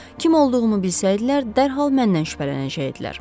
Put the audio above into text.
Kim olduğumu bilsəydilər, dərhal məndən şübhələnəcəkdilər.